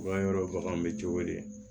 Bagan yɔrɔ baganw bɛ cogo di